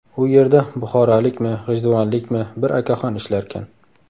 U yerda buxorolikmi, g‘ijduvonlikmi, bir akaxon ishlarkan.